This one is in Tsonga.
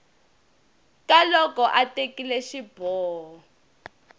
ka loko a tekile xiboho